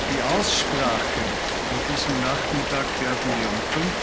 Die Aussprache an diesem Nachmittag werden wir um